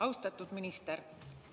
Austatud minister!